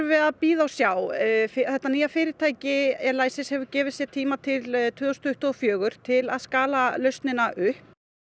við að bíða og sjá þetta nýja fyrirtæki Elysis hefur gefið sér til tvö þúsund tuttugu og fjögur til að skala lausnina upp